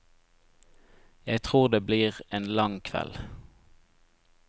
Jeg tror det blir en lang kveld.